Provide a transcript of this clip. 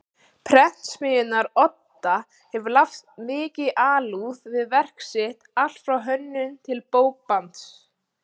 Prentsmiðjunnar Odda hafa lagt mikla alúð við verk sitt allt frá hönnun til bókbands.